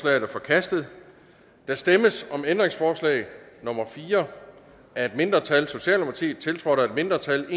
er forkastet der stemmes om ændringsforslag nummer fire af et mindretal tiltrådt af et mindretal